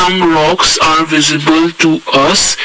some rocks are visible to us.